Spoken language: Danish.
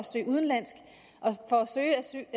til udlandet og søge asyl